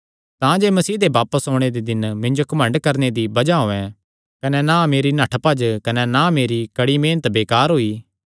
तांजे मसीह दे बापस ओणे दे दिन मिन्जो घमंड करणे दी बज़ाह होयैं कने ना मेरी नठ्ठभज्ज कने ना मेरी कड़ी मेहनत करणा बेकार होई